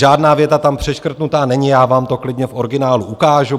Žádná věta tam přeškrtnutá není, já vám to klidně v originálu ukážu.